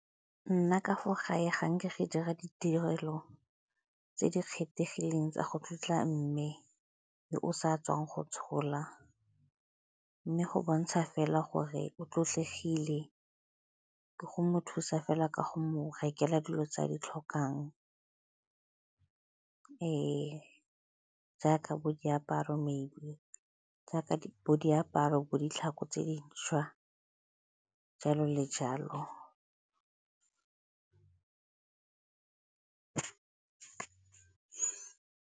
Nna ka fa gae ga nke go dira ditirelo tse di kgethegileng tsa go tlotla mme yo o sa tswang go tshola, mme go bontsha fela gore o tlotlegile ka go mo thusa fela ka go mo rekela dilo tse a di tlhokang jaaka bo diaparo, jaaka bo diaparo, bo ditlhako tse dišwa, jalo le jalo.